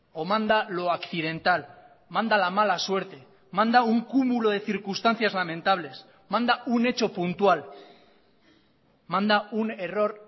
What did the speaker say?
o manda lo accidental manda la mala suerte manda un cúmulo de circunstancias lamentables manda un hecho puntual manda un error